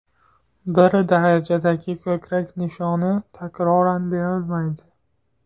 Bir darajadagi ko‘krak nishoni takroran berilmaydi.